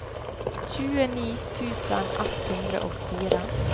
tjueni tusen ett hundre og fire